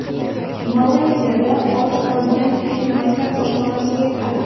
Malayziyada och qolgan fil maktab oshxonasiga kirdi.